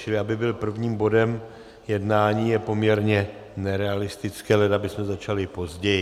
Čili aby byl prvním bodem jednání, je poměrně nerealistické, leda bychom začali později.